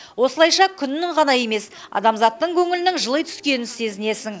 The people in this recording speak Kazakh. осылайша күннің ғана емес адамзаттың көңілінің жыли түскенін сезінесің